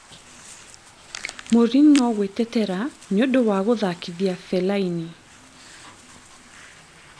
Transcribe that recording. Mourinho gwĩtetera nĩũndũ wa gũthakithia Fellaini